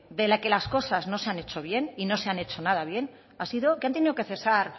de que las cosas no se han hecho bien y no se han hecho nada bien ha sido que han tenido que cesar